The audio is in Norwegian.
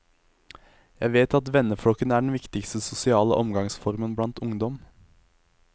Jeg vet at venneflokken er den viktigste sosiale omgangsformen blant ungdom.